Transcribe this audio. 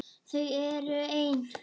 Þau eru ein.